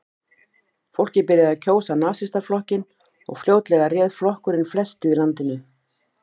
Fólkið byrjaði að kjósa Nasistaflokkinn og fljótlega réð flokkurinn flestu í landinu.